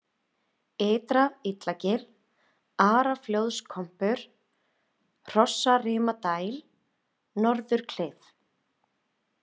Ytra-Illagil, Araflóðskompur, Hrossarimadæl, Norðurklif